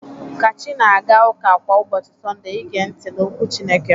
Kachi na-aga ụka kwa ụbọchị Sọnde i gee ntị n'okwu Chineke.